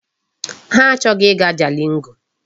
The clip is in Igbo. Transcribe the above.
Ha achọghị ịga Jalingo.